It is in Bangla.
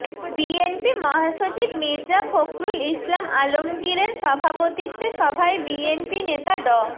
বিএনপি মহাসচিব মির্জা ফখরুল ইসলাম আলমগীরের সভাপতিত্বে সভায় বিএনপি নেতা ড